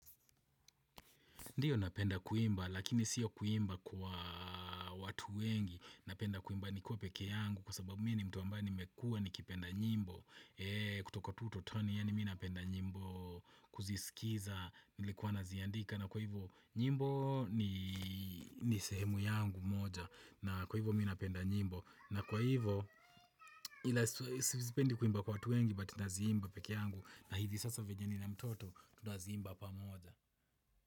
Ndio napenda kuimba lakini sio kuimba kwa watu wengi, napenda kuimba nikiwa pekee yangu kwa sababu mimi ni mtu ambaye nimekua ni kipenda nyimbo, kutoka utotoni yani minapenda nyimbo kuzisikiza nilikuwa naziandika na kwa hivyo nyimbo ni nisehemu yangu moja na kwa hivo mimi napenda nyimbo na kwa hivo ila sipendi kuimba kwa watu wengi bat naziimba pekee yangu na hizi sasa venye nina mtoto tunaziimba pamoja.